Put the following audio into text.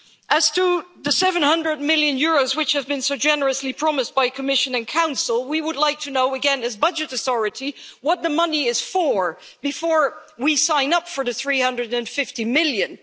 line. As for the EUR 700 million which have been so generously promised by the Commission and Council, we would like to know, again as the budget authority, what the money is for before we sign up for the EUR 350 million.